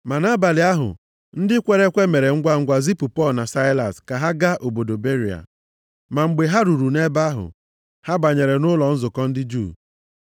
Ma nʼabalị ahụ, ndị kwere ekwe mere ngwangwa zipụ Pọl na Saịlas ka ha gaa obodo Beria. Ma mgbe ha ruru nʼebe ahụ, ha banyere nʼụlọ nzukọ ndị Juu.